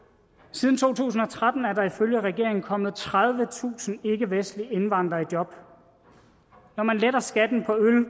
siden to tusind og tretten er der ifølge regeringen kommet tredivetusind ikkevestlige indvandrere i job når man letter skatten på øl